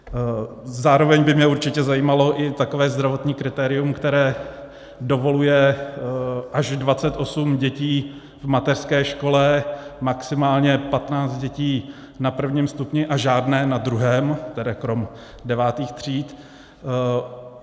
Zároveň by mě určitě zajímalo i takové zdravotní kritérium, které dovoluje až 28 dětí v mateřské škole, maximálně 15 dětí na prvním stupni a žádné na druhém - tedy krom devátých tříd.